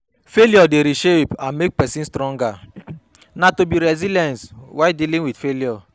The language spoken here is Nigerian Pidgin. Failure dey reshape and make pesin stronger, na to be resilience while dealing with failure.